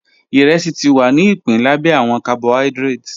Iresi ti wa ni ipin labẹ awọn carbohydrates